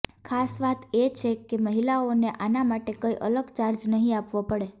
ખાસ વાત એ છે કે મહિલાઓને આના માટે કોઈ અલગ ચાર્જ નહીં આપવો પડે